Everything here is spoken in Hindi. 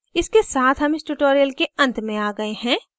इसके साथ हम इस tutorial के अंत में आ गए हैं